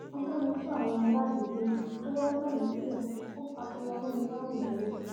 ọpẹlọpẹ àwọn aládùúgbò tó wàá gbà mí sílé ò faṣọ ya mọ mi lọrùn dánwò